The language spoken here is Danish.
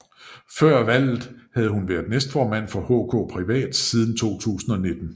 Før valget havde hun været næstformand for HK Privat siden 2019